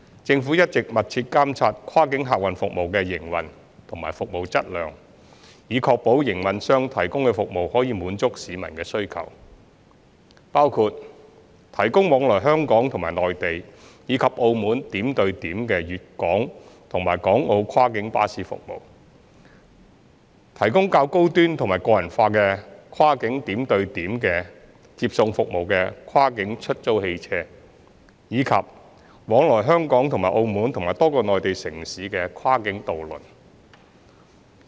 政府一直密切監察跨境客運服務的營運及服務量，以確保營辦商提供的服務能滿足市民的需求，包括： i 提供往來香港與內地及澳門點到點的粵港和港澳跨境巴士服務；提供較高端和個人化的跨境點對點接送服務的跨境出租汽車；及往來香港與澳門及多個內地城市的跨境渡輪。